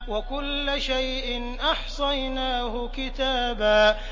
وَكُلَّ شَيْءٍ أَحْصَيْنَاهُ كِتَابًا